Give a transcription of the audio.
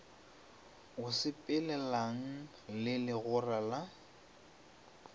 o sepelelanago le legora la